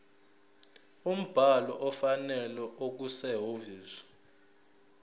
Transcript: umbhalo ofanele okusehhovisi